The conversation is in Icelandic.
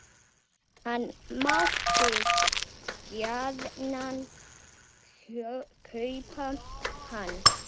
Hann mátti gjarnan kaupa hann.